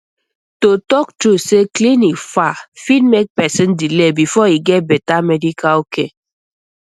to talk true say clinic far fit make person delay before e get better medical care